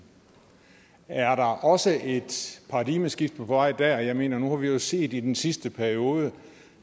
er der også et paradigmeskift på vej dér jeg mener nu har vi jo set i den sidste periode